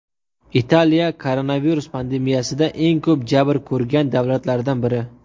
Italiya koronavirus pandemiyasida eng ko‘p jabr ko‘rgan davlatlardan biri.